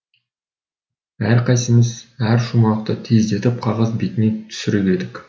әрқайсымыз әр шумақты тездетіп қағаз бетіне түсіріп едік